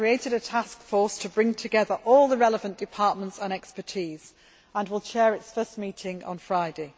I have created a task force to bring together all the relevant departments and expertise and will chair its first meeting on Friday.